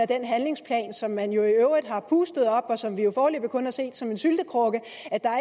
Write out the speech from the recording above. den handlingsplan som man i øvrigt har pustet op og som vi jo foreløbig kun har set som en syltekrukke